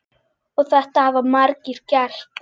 Og þetta hafa margir gert.